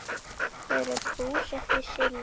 Þau eru búsett í Síle.